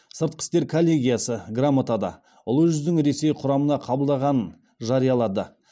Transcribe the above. сыртқы істер коллегиясы грамотада ұлы жүздің ресей құрамына қабылданғанын жариялады